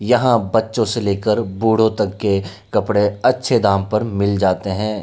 यहाँ बच्चों से लेकर बुढों तक के कपड़ें अच्छे दाम पर मिल जाते हैं।